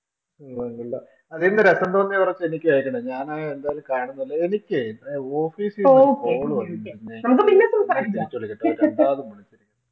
അതേന്ന് Reference കുറിച്ച് എനിക്ക് അയച്ചേക്കണം ഞാനെന്റെ ഒരു കാര്യം